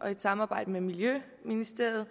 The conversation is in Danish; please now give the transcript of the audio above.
og i et samarbejde med miljøministeriet